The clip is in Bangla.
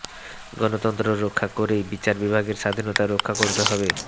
গণতন্ত্র রক্ষা করেই বিচার বিভাগের স্বাধীনতা রক্ষা করতে হবে